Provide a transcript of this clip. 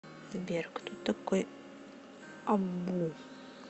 сбер кто такой абу